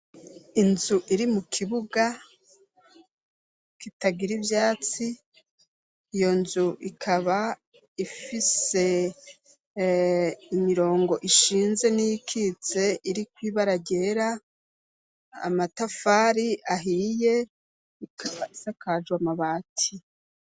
Inzu iri mu kibuga kitagira ivyatsi iyo nzu ikaba ifise imirongo ishinze n'ikitse iriko ibara ryera, amatafari ahiye ikaba isakajwe amabati.